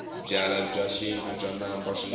byalwa bya xintu bya namba swinene